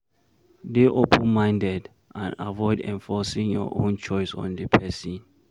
Dey open minded and avoid enforcing your own choice on di person